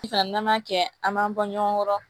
Sisan n'an m'a kɛ an b'an bɔ ɲɔgɔn kɔrɔ